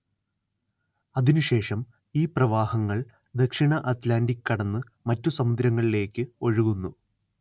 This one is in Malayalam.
അതിനുശേഷം ഈ പ്രവാഹങ്ങൾ ദക്ഷിണ അറ്റ്‌ലാന്റിക് കടന്ന് മറ്റു സമുദ്രങ്ങളിലേക്ക് ഒഴുകുന്നു